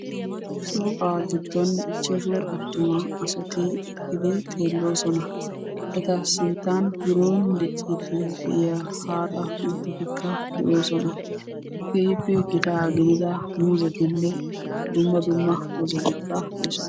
shooqaa giddon ichchashu attuma asati eqqidi xeeloososna. Eta sinttan biron diciidi de'iya haaxxa utaatikka de'oosona. keehippe gitaa gididda muuzetine dumma dumma dozatikka de'oosona.